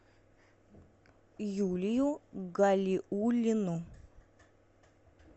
юлию галиуллину